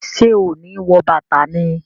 Ṣe o ni wọ bàtà ni?